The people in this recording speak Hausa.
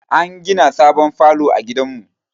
An gina sabon falo a gidan mu